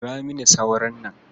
Kora mini sauron nan.